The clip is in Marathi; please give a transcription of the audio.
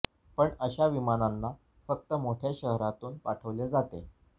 पण अशा विमानांना फक्त मोठ्या शहरांतून पाठवले जाते